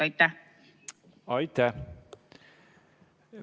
Aitäh!